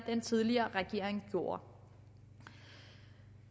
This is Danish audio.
den tidligere regering gjorde